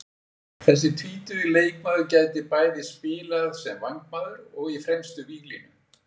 Þessi tvítugi leikmaður getur bæði spilað sem vængmaður og í fremstu víglínu.